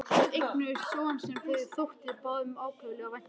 Þau eignuðust son sem þeim þótti báðum ákaflega vænt um.